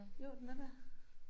Jo den er dér